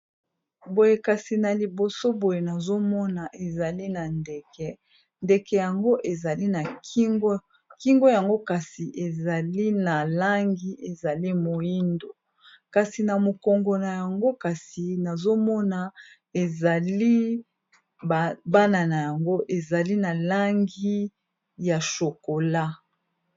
Boyekasi na liboso boye nazomona ezali na ndeke, ndeke yango ezali na ingkingo yango kasi ezali na langi ezali moindo, kasi na mokongo na yango kasi nazomona ezali bana na yango ezali na langi ya shokola.